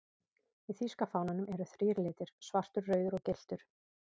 Í þýska fánanum eru þrír litir, svartur, rauður og gylltur.